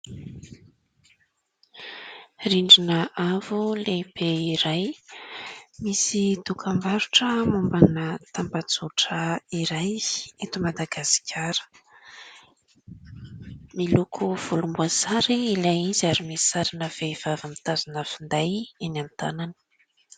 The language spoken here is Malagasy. Rindrina avo lehibe iray, misy dokam-barotra mombana tambazotra iray eto madagasikara miloko volomboasary ilay izy ary misy sarina vehivavy mitazona finday eny amin'ny tanany.